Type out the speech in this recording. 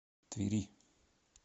твери